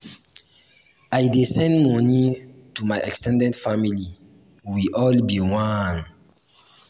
i dey send moni to my ex ten ded family we all be one.